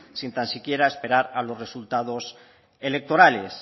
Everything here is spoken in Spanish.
sin tan siquiera esperar a los resultados electorales